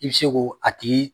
I bɛ se ko a tigi